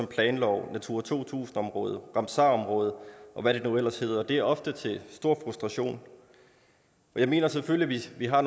planloven natura to tusind områder ramsarområder og hvad det nu ellers hedder det er ofte til stor frustration jeg mener selvfølgelig at vi har